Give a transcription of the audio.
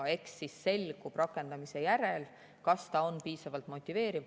Eks siis selgub rakendamise järel, kas ta on piisavalt motiveeriv.